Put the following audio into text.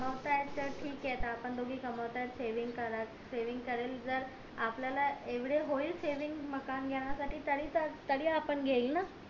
मग काय तर ठीक ये आता आपण दोघी कमवतात सवेगिं करेल जर आपल्याला एवढे होईल सेविग मकान घेण्या साठी तरी तरी आपण घेईल ना